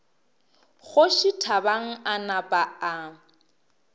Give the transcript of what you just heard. kgoši thabang a napa a